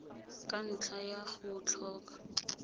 ka ntlha ya go tlhoka